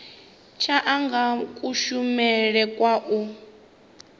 tsha anga kushumele kwa u